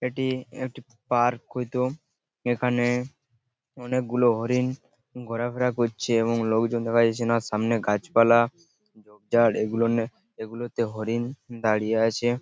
এটিই একটি পার্ক হয়তো। এইখানে অনেকগুলো হরিণ ঘোরাফেরা করছে এবং লোকজন দেখা যাচ্ছে না এইখানে সামনে গাছপালা ঝোপঝাড় এইগুলোনে এইগুলো তে হরিণ দাঁড়িয়ে রয়েছে।